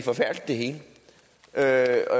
hele er